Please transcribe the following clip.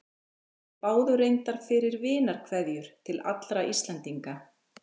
Þeir báðu reyndar fyrir vinarkveðjur til allra Íslendinga.